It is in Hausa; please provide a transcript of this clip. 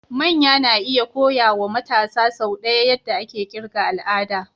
Manya na iya koya wa matasa sau ɗaya yadda ake ƙirga al'ada.